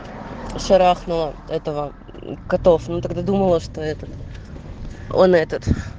шарахнуло этого котов ну тогда думала что этот он этот